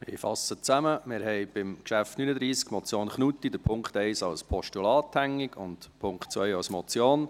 Wir haben beim Traktandum 39, der Motion Knutti , den Punkt 1 als Postulat hängig, den Punkt 2 als Motion.